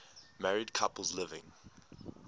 married couples living